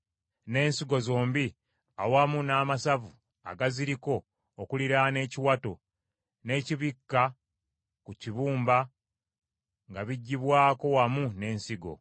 n’ensigo zombi awamu n’amasavu agaziriko okuliraana ekiwato, n’ekibikka ku kibumba nga biggyibwako wamu n’ensigo.